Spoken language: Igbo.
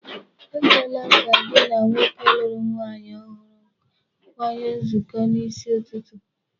Ekwela ka gị na nwoke lụrụ nwaanyị ohụrụ kanye nzukọ n'isi ụtụtụ.